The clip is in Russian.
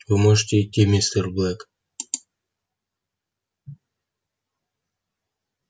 вы можете идти мистер блэк